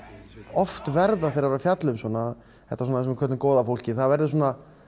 oft verður þegar maður er að fjalla um svona þetta sem við köllum góða fólkið verður svona